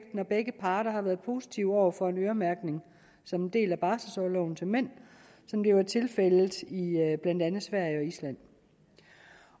begge parter har været positive over for en øremærkning som en del af barselsorloven til mænd som det er tilfældet i blandt andet sverige